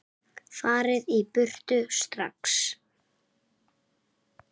FARIÐ Í BURTU STRAX!